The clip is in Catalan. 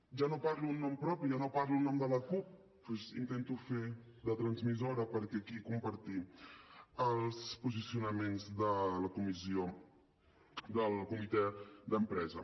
ja no parlo en nom propi ja no parlo en nom de la cup doncs intento fer de transmissora per aquí compartir els posicionaments del comitè d’empresa